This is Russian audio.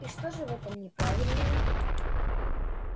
и что же в этом неправильного